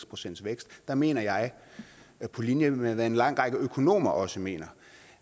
procent vækst så mener jeg på linje med hvad en lang række økonomer også mener